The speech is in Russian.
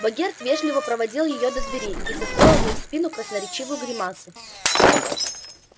богерт вежливо проводил её до двери и состроил ей в спину красноречивую гримасу